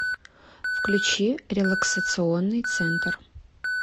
включи релаксационный центр